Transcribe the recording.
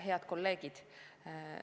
Head kolleegid!